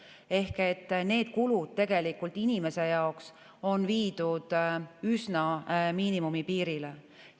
Ehk need kulud tegelikult inimese jaoks on viidud üsna miinimumi piirile.